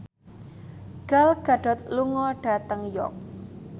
Gal Gadot lunga dhateng York